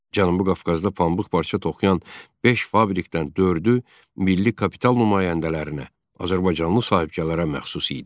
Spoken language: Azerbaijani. Cənubi Qafqazda pambıq parça toxuyan beş fabrikdən dördü milli kapital nümayəndələrinə, azərbaycanlı sahibkarlara məxsus idi.